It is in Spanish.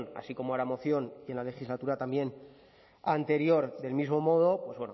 así como en la moción y en la legislatura anterior también del mismo modo pues